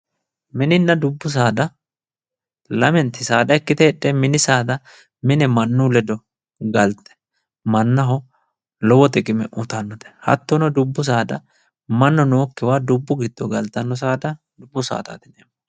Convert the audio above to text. Minina dubbu saada lamennti saada ikkite heedhe mini saada mine mannu ledo galite mannaho lowo xiqime uyitanote, hatono dubbu saada mannu nookiwa dubbu gido galitano saada dubbu saadati yineemo